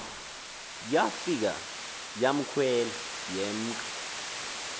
yafika yakhwela yemka